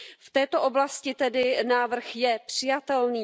V této oblasti tedy návrh je přijatelný.